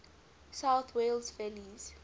south wales valleys